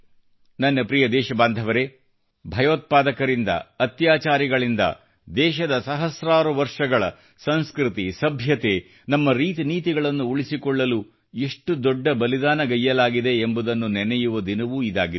ನನ್ನ ಪ್ರಿಯ ದೇಶಬಾಂಧವರೆ ಭಯೋತ್ಪಾದಕರಿಂದ ಅತ್ಯಾಚಾರಿಗಳಿಂದ ದೇಶದ ಸಹಸ್ರಾರು ವರ್ಷಗಳ ಸಂಸ್ಕೃತಿ ಸಭ್ಯತೆ ನಮ್ಮ ರೀತಿ ನೀತಿಗಳನ್ನು ಉಳಿಸಿಕೊಳ್ಳಲು ಎಷ್ಟು ದೊಡ್ಡ ಬಲಿದಾನಗೈಯ್ಯಲಾಗಿದೆ ಎಂಬುದನ್ನು ನೆನೆಯುವ ದಿನವೂ ಇದಾಗಿದೆ